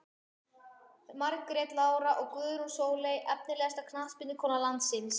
Margrét Lára og Guðrún Sóley Efnilegasta knattspyrnukona landsins?